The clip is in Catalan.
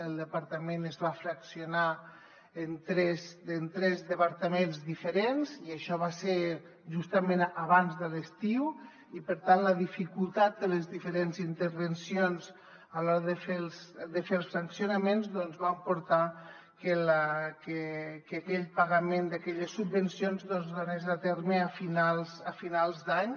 el departament es va fraccionar en tres departaments diferents i això va ser justament abans de l’estiu i per tant la dificultat de les diferents intervencions a l’hora de fer els fraccionaments va portar que aquell pagament d’aquelles subvencions doncs es dugués a terme a finals d’any